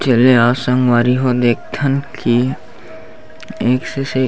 चले आ संगवारी ह देखथन कि एक से से--